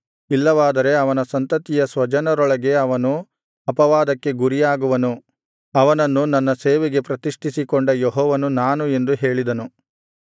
ಇಲ್ಲವಾದರೆ ಅವನ ಸಂತತಿಯ ಸ್ವಜನರೊಳಗೆ ಅವನು ಅಪವಾದಕ್ಕೆ ಗುರಿಯಾಗುವನು ಅವನನ್ನು ನನ್ನ ಸೇವೆಗೆ ಪ್ರತಿಷ್ಠಿಸಿಕೊಂಡ ಯೆಹೋವನು ನಾನು ಎಂದು ಹೇಳಿದನು